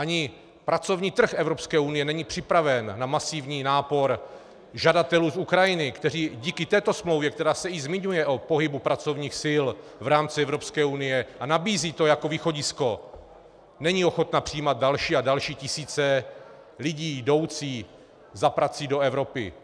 Ani pracovní trh Evropské unie není připraven na masivní nápor žadatelů z Ukrajiny, kteří díky této smlouvě, která se i zmiňuje o pohybu pracovních sil v rámci Evropské unie a nabízí to jako východisko, není ochotna přijímat další a další tisíce lidí jdoucí za prací do Evropy.